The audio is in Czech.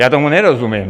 Já tomu nerozumím.